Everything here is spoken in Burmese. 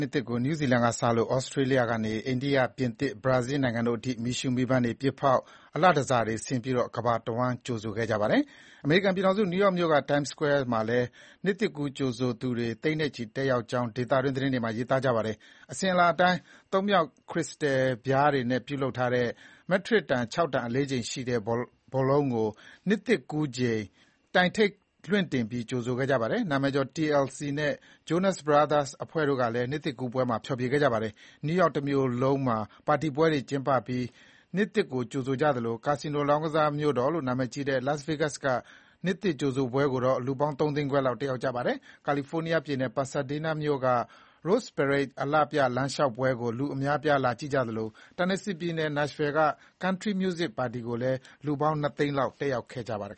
နှစ်သစ်ကို နယူးဇီလန်ကစလို့ သြစတြေးလျကနေ အိန္ဒိယ၊ ပြင်သစ်၊ ဘရာဇီးလ်နိုင်ငံတို့အထိ မီးရှုးမီးပန်းတွေပစ်ဖေါက်၊ မီးအလှတန်ဆာတွေဆင်ပြီး ကမ္ဘာတဝှမ်း ကြိုဆိုခဲ့ကြပါတယ်။ အမေရိကန်ပြည်ထောင်စု နယူးယောက်မြို့က Times Square မှာလည်း နှစ်သစ်ကူးကြိုဆိုသူတွေ သိန်းနဲ့ချီတက်ရောက်ကြောင်း ဒေသတွင် သတင်းတွေမှာ ရေးသားပါတယ်။ အစဥ်အလာအတိုင်း သုံးမြှောင့်ခရစ္စတယ်ပြားတွေနဲ့ ပြုလုပ်ထားတဲ့ မက်ထရစ်တန် ၆ တန် အလေးချိန်ရှိတဲ့ ဘောလုံးကို နှစ်သစ်ကူးချိန် တိုင်ထိပ်လွှင့်တင်ပြီး ကြိုဆိုခဲ့ပါတယ်။ နာမည်ကျော် TLC နဲ့ Jonas Brothers အဖွဲ့ကလည်း နှစ်သစ်ကူးပွဲမှာ ဖျော်ဖြေခဲ့ကြပါတယ်။ နယူးယောက်တမြို့လုံးမှာ ပါတီပွဲတွေကျင်းပပြီး နှစ်သစ်ကို ကြိုဆိုသလို ကာစီနိုလောင်းကစား မြို့တော်လို့ နာမည်ကြီးတဲ့ Las Vegas က နှစ်သစ်ကြိုဆိုပွဲကို လူပေါင်းသုံးသိန်းခွဲလောက် တက်ရောက်ကြပါတယ်။ ကယ်လီဖိုးနီးယားပြည်နယ်၊ Pasadena မြို့က Rose Parade အလှပြ လမ်းလျှောက်ပွဲကို လူအများ လာကြည့်ကြသလို Tennesseeပြည်နယ်၊ Nashville က Country Music ပါတီကိုလည်း လူပေါင်း ၂ သိန်းလောက် တက်ရောက် ကြပါတယ်